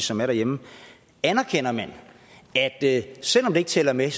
som er derhjemme anerkender man at selv om det ikke tæller med